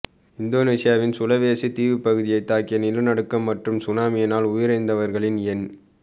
இந்தோனேசியாவின் சுலவெசி தீவுப்பகுதியை தாக்கிய நிலநடுக்கம் மற்றும் சுனாமியினால் உயிரிழந்தவர்களின் எண்